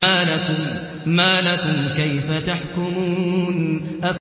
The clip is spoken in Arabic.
مَا لَكُمْ كَيْفَ تَحْكُمُونَ